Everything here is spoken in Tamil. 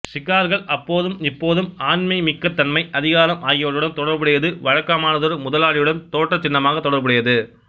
சிகார்கள் அப்போதும்இப்போதும் ஆண்மைமிக்கத்தன்மை அதிகாரம் ஆகியவற்றுடன் தொடர்புடையது வழக்கமானதொரு முதலாளியுடன் தோற்றச் சின்னமாகத் தொடர்புடையது